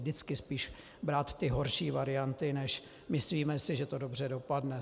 Vždycky brát spíš ty horší varianty, než "myslíme si, že to dobře dopadne".